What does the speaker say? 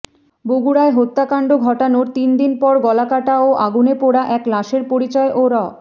বগুড়ায় হত্যাকাণ্ড ঘটানোর তিন দিন পর গলাকাটা ও আগুনে পোড়া এক লাশের পরিচয় ও র